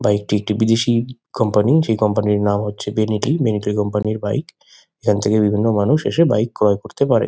Bike -টি একটি বিদেশী কোম্পানি -র সেই কোম্পানি -র নাম হচ্ছে বেনেলি । বেনেলি কোম্পানি -র বাইক এখান থেকে বিভিন্ন মানুষ এসে ক্রয় করতে পারে।